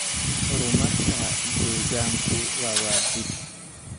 Horumarka deegaanku waa waajib.